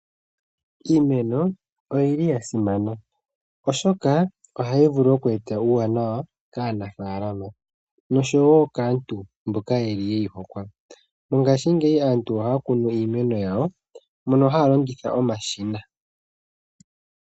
Iimeno oyili yasimana oshoka ohayi vulu okweeta uuwanawa kaanafaalama noshowo kaantu mboka yeyi hokwa. Mongashingeyi aantu ohaakunu iimeno. yawo mono haalongitha omashina.